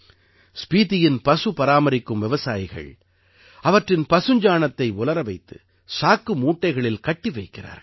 ஸ்பீதியின் பசுபராமரிக்கும் விவசாயிகள் அவற்றின் பசுஞ்சாணத்தை உலர வைத்து சாக்கு மூட்டைகளில் கட்டி வைக்கிறார்கள்